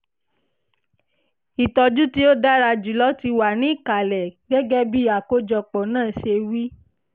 ìtọ́jú tí ó dára jùlọ ti wà ní ìkàlẹ̀ gẹ́gẹ́ bí àkójọpọ̀ náà ṣe wí